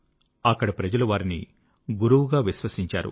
అక్కడి ప్రజలు వారిని గురువుగా విశ్వసించారు